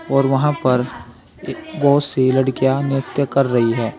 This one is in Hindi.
और वहां पर बहोत सी लड़कियां नित्य कर रही है।